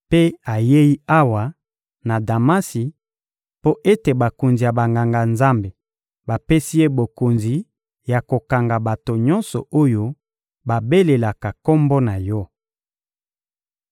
Mpe ayei awa, na Damasi, mpo ete bakonzi ya Banganga-Nzambe bapesi ye bokonzi ya kokanga bato nyonso oyo babelelaka Kombo na Yo.